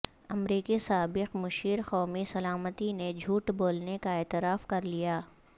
امریکی سابق مشیر قومی سلامتی نے جھوٹ بولنے کا اعتراف کر لیا